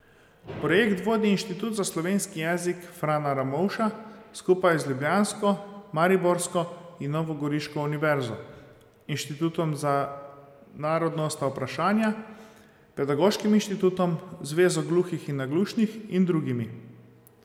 Projekt vodi Inštitut za slovenski jezik Frana Ramovša skupaj z ljubljansko, mariborsko in novogoriško univerzo, Inštitutom za narodnostna vprašanja, Pedagoškim inštitutom, zvezo gluhih in naglušnih in drugimi.